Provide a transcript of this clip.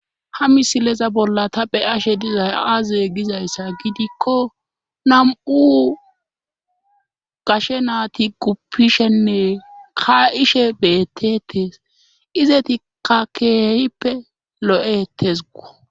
ha misileza bolla taphe ashe dizay aaze gizayssa gidikko nam7u gashe naati guppishenne ka7ishe beettetees izeti kakeeyippe lo7e hettes go